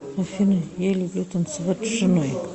афина я люблю танцевать с женой